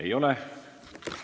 Ei ole.